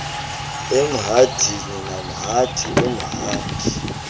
emhadini namhadi umhadi